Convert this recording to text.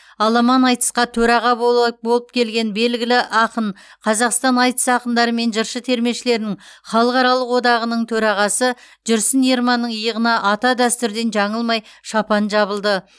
аламан айтысқа төраға болы болып келген белгілі ақын қазақстан айтыс ақындары мен жыршы термешілердің халықаралық одағаның төрағасы жүрсін ерманның иығына ата дәстүрден жаңылмай шапан жабылды